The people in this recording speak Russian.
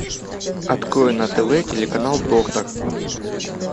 открой на тв телеканал доктор